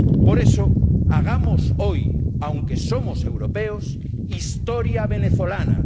Por eso, hagamos hoy, aunque somos europeos, historia venezolana.